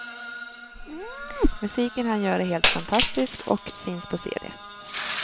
Musiken han gör är helt fantastisk och finns på cd.